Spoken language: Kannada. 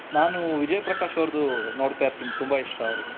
ನಾನು ವಿಜಯ್ ಪ್ರಕಾಶ್ ಅವರ್ದು ನೋಡ್ತಾ ಇರ್ತೀನಿ ತುಂಬಾ ಇಷ್ಟ ಅವರದು.